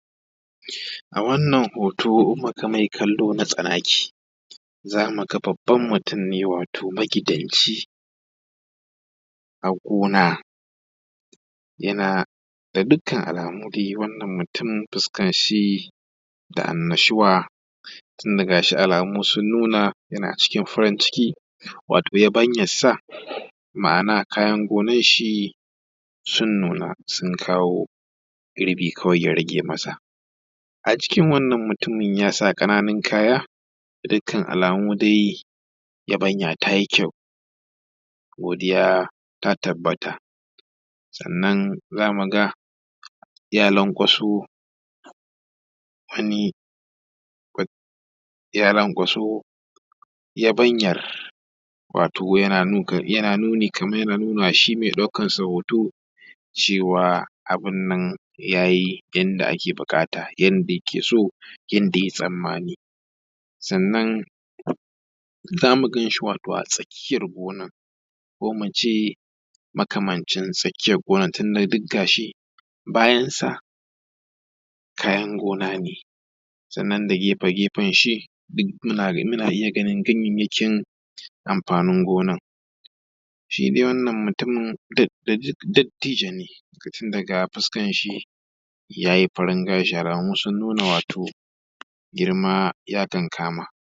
A wannan hooto in muka mashi kallo na tsanaki za muga babban mutum ne wato magidanci a gona, yana gda dukkan alamu dai wannan mutum fuskanshi da annashuwa tun da ga shi alamu sun nuna yana cikin farinciki wato yabanyansa ma’ana kayan gonanshi sun nuna sun kawo girbi kawai ya rage masa a jikin wanna mutumin ya sa ƙananun kayaga dukkan alamu dai yabanya taa yi kyau godiya ta tabbata sannan za mu ga ya lanƙwaso wani ya lanƙwaso yabanyar wato yana nuni kamar yana nuna shi ma ɗaukarsa hooto cewa abinnan ya yi yanda ake buƙata yanda yake so yanda yayi tsammani sannan zamu ganshi wato atsakiyar gonan ko muce makamancin tsakiyar gonar tunda duk gashi bayansa kayan gona ne sannan da gefe gefenshi muna iya gani ganyayyakin amfaanin gonan. Shi dai wannan mutumin dattijo ne tun daga fuskanshi yayi farin gashi alamun sun nuna wato girma ya kankama